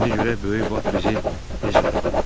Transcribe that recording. İndi görək böyük vat bizi necə tapır.